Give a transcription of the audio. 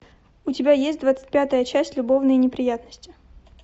у тебя есть двадцать пятая часть любовные неприятности